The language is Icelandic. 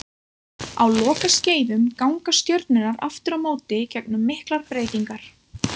Á lokaskeiðum ganga stjörnurnar aftur á móti gegnum miklar breytingar.